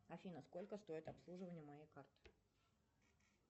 афина сколько стоит обслуживание моей карты